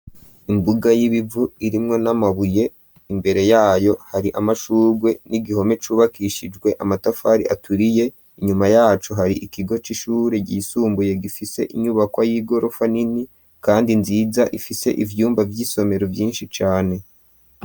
Imbuga y'ibivu irimwo n'amabuye imbere yayo hari amashugwe n'igihome cubakishijwe amatafari aturiye inyuma yaco hari ikigo c'ishure ryisumbuye gifise inyubakwa y'igorofa nini kandi nziza ifise ivyumba vy'isomero vyinshi cane.